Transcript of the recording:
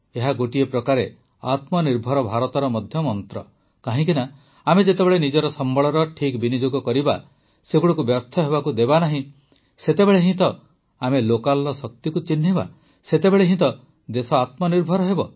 ଏହା ଗୋଟିଏ ପ୍ରକାରେ ଆତ୍ମନିର୍ଭର ଭାରତର ମଧ୍ୟ ମନ୍ତ୍ର କାହିଁକି ନା ଆମେ ଯେତେବେଳେ ନିଜର ସମ୍ବଳର ଠିକ୍ ବିନିଯୋଗ କରିବା ସେଗୁଡ଼ିକୁ ବ୍ୟର୍ଥ ହେବାକୁ ଦେବାନାହିଁ ସେତେବେଳେ ହିଁ ତ ଆମେ ଲୋକାଲର ଶକ୍ତିକୁ ଚିହ୍ନିବା ସେତେବେଳେ ହିଁ ତ ଦେଶ ଆତ୍ମନିର୍ଭର ହେବ